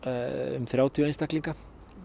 um þrjátíu einstaklinga